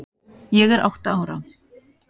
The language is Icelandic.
Ég er átta ára.